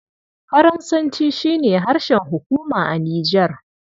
Faransanci shi ne harshen hukuma a Nijar.